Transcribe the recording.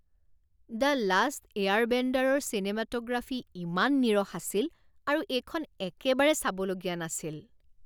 The last এয়াৰবেণ্ডাৰৰ চিনেমাট'গ্ৰাফী ইমান নীৰস আছিল আৰু এইখন একেবাৰে চাবলগীয়া নাছিল।